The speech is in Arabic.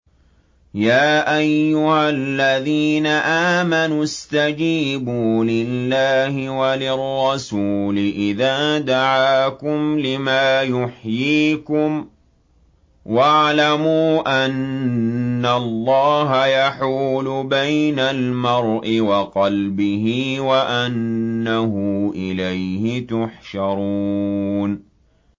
يَا أَيُّهَا الَّذِينَ آمَنُوا اسْتَجِيبُوا لِلَّهِ وَلِلرَّسُولِ إِذَا دَعَاكُمْ لِمَا يُحْيِيكُمْ ۖ وَاعْلَمُوا أَنَّ اللَّهَ يَحُولُ بَيْنَ الْمَرْءِ وَقَلْبِهِ وَأَنَّهُ إِلَيْهِ تُحْشَرُونَ